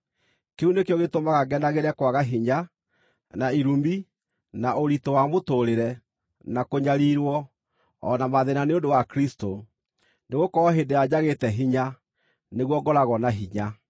Kĩu nĩkĩo gĩtũmaga ngenagĩre kwaga hinya, na irumi, na ũritũ wa mũtũũrĩre, na kũnyariirwo, o na mathĩĩna nĩ ũndũ wa Kristũ. Nĩgũkorwo hĩndĩ ĩrĩa njagĩte hinya, nĩguo ngoragwo na hinya.